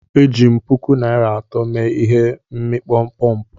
Eji m puku naira atọ mee ihe n'ịkpọ pọmpụ